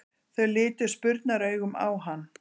Þau litu spurnaraugum á hann.